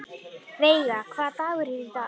Veiga, hvaða dagur er í dag?